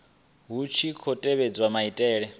hu tshi khou tevhedzwa maitele